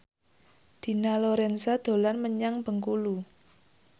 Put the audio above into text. Dina Lorenza dolan menyang Bengkulu